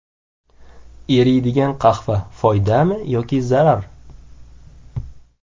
Eriydigan qahva: foydami yoki zarar?.